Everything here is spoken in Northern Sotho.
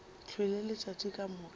hlwele letšatši ka moka ba